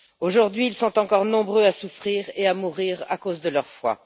Aujourd'hui, ils sont encore nombreux à souffrir et à mourir à cause de leur foi.